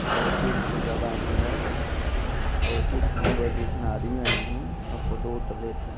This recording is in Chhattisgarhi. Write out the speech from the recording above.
आउ उठी बहुत ज़्यादा अंधेला है उठी घूमे बर दु झन आदमी आइन हे आउ फोटो -ओटो लेथे।